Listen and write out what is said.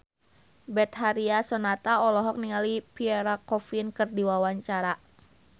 Betharia Sonata olohok ningali Pierre Coffin keur diwawancara